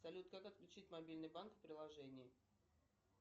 салют как отключить мобильный банк в приложении